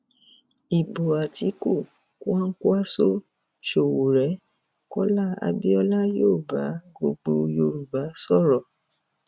ibo àtiku kwakwanko sowore kọlá abiola yóò bá gbogbo yorùbá sọrọ